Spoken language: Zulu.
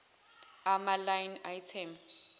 ama line item